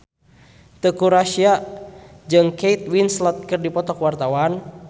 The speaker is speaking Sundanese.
Teuku Rassya jeung Kate Winslet keur dipoto ku wartawan